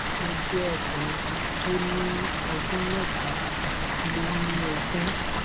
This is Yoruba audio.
mo jẹ ọkùnrin tó ní ọdún mẹta lé ní ogún